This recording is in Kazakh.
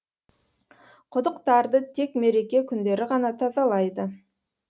құдықтарды тек мереке күндері ғана тазалайды